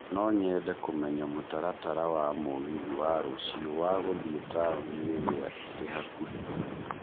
No nyende kũmenya mũtaratara wa mũgithi wa rũciũ wa gũthiĩ taũni ĩrĩa ĩrĩ hakuhĩ.